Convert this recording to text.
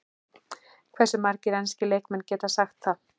Hversu margir enski leikmenn geta sagt það?